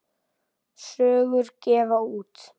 Sögur gefa út.